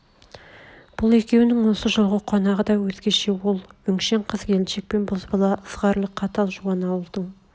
бұл екеуінің осы жолғы қонағы да өзгеше ол өңшең қыз-келіншек пен бозбала ызғарлы қатал жуан ауылдың